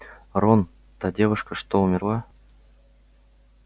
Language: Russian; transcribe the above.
рон та девушка что умерла